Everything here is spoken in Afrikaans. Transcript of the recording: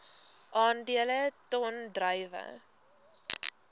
aandele ton druiwe